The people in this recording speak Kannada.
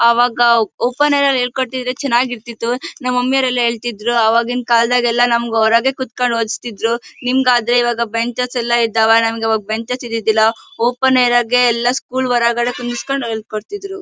ಅವಾಗ ಓಪನ್ ಏರ್ ನಲ್ಲಿ ಹೇಳಿಕೊಟ್ಟಿದ್ರೆ ಚೆನ್ನಾಗಿರ್ತಿತ್ತು. ನಮ್ಮ್ ಮಮ್ಮಿಯವರೆಲ್ಲ ಹೇಳ್ತಿದ್ರು ಆವಾಗಿನ ಕಾಲದಗೆಲ್ಲ ನಮಗೆ ಹೊರಗೆ ಕೂರಿಸಿಕೊಂಡು ಓಡಿಸ್ತಿದ್ರು. ನಿಮಗಾದ್ರೆ ಈಗ ಬೆಂಚಸ್ ಇದಾವೆ ನಮಗೆ ಆಗ ಬೆಂಚಸ್ ಇರ್ಲಿಲ್ಲ. ಓಪನ್ ಏರ್ ಆಗೇ ಹೊರಗೆ ಎಲ್ಲ ಕೂರಿಸ್ಕೊಂಡು ಹೇಳ್ ಕೊಡ್ತಿದ್ರು.